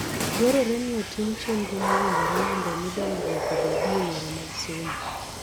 Dwarore ni otim chenro mowinjore mondo omi dongruok obedie e yore mag somo.